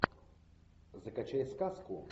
закачай сказку